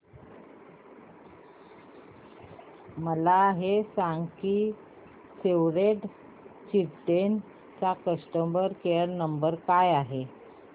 मला हे सांग की सेव्ह द चिल्ड्रेन चा कस्टमर केअर क्रमांक काय आहे